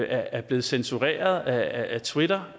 er blevet censureret af twitter